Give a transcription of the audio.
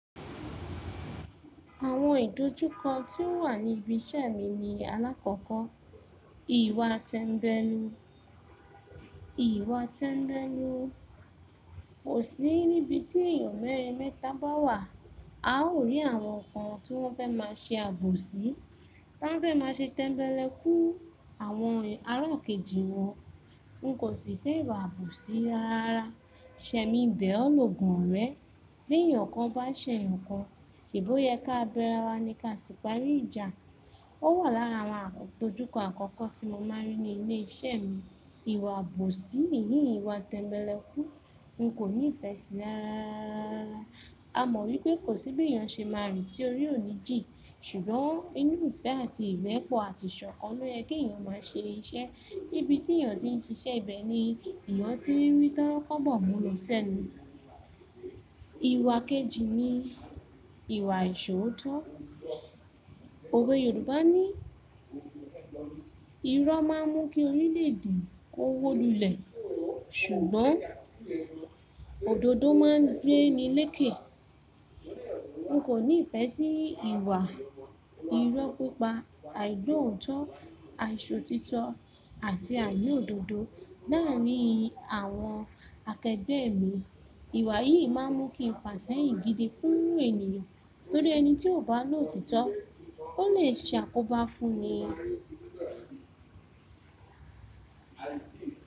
Àwọn ìdojúkọ tí ó wà ní ibi iṣẹ́ mi ni àlákókò, ìwà tẹ́mbẹ́lú. Ìwà tẹ́mbẹ́lú. Kò sí níbi tí èèyàn mẹ́rin mẹ́ta bá wà, a ó rí àwọn kan tó fẹ́ máa ṣe àbòsí, tá ń fẹ́ máa ṣe tẹ́mbẹ́lẹ́kú àwọn ará kejì wọn, n kò sì fẹ́ ìwà àbòsí rara rárá Sẹ́mi ń bẹ̀ ọ́ lógun órẹ́, bí èèyàn kan bá ṣẹ̀yàn kan, ṣèbó yẹ ká bẹ́ra wa ní ká sì parí ìjà. Ó wà lára àwọn ìdojúkọ àkọ́kọ́ tí mo máa rí ní ilé iṣẹ́ mi. Ìwà àbòsí nìyí ìwà tẹ́mbẹ́lẹ́kú. N kò ní ìfẹ́ sí i rara rárá. A mọ̀ wípé kò sí bí èèyàn ṣe máa rí tí orí ò ní jì, ṣùgbọ́n inú ìfẹ́ àti ìbẹ́pọ̀ àti ṣọ̀kàn lo yẹ kí èèyàn máa ṣe iṣẹ́. Níbi tí èèyàn ti ń ṣiṣẹ́ ibẹ̀ ni ìyàn tí rí tòro kọ́bọ̀ mú lọ sẹ́nu. Ìwà kejì ni ìwà ìṣóòótọ́. Òwe Yorùbá ní, "irọ́ máa ń mú kí orí lè dìí, ó wó lulẹ̀, ṣùgbọ́n òdodo máa ń gbé nílé kẹ̀." N kò ní ìfẹ́ sí ìwà irọ́ pípa, àìgbọ́otọ̀, àìṣòótitọ́ àti àìniódodo. Láàárín àwọn akẹgbẹ́ mi, ìwà yìí máa ń mú kí fàṣẹ́yìn gidi fún ènìyàn, torí ẹni tí ó bá lóòtitọ́, ó lè ṣàkóbá fún ni.